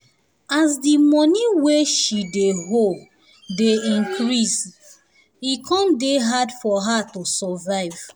as the money wey she dey owe dey increase e come dey hard for her to survive